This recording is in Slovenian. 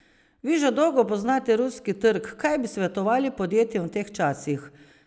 Vi že dolgo poznate ruski trg, kaj bi svetovali podjetjem v teh časih?